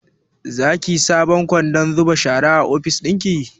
Zaki saka sabon kwandon zuba shara a ofis ɗinki?